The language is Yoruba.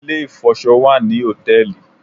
Ilé-ìfọṣọ wà ní hòtẹ́ẹ̀lì